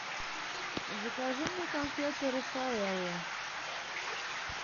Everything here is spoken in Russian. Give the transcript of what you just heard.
закажи мне конфеты рафаэлло